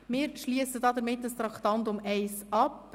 Wir schliessen damit das Traktandum 1 ab.